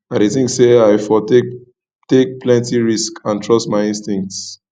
i dey think say i for take take plenty risks and trust my instincts